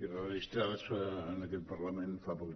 i registrades en aquest parlament fa poc